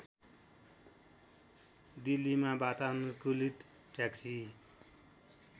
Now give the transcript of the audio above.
दिल्लीमा वातानुकूलित ट्याक्सी